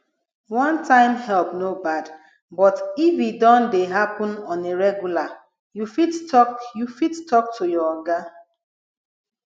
one time help no bad but if e don dey happen on a regular you fit talk you fit talk to your oga